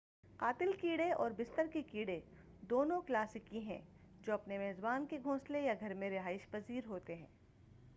قاتل کیڑے اور بستر کے کیڑے دونوں کلاسیکی ہیں جو اپنے میزبان کے گھونسلے یا گھر میں رہائش پذیر ہوتے ہیں